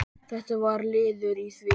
Þetta var liður í því.